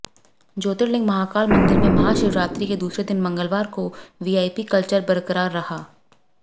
ज्योतिर्लिंग महाकाल मंदिर में महाशिवरात्रि के दूसरे दिन मंगलवार को भी वीआईपी कल्चर बरकरार रहा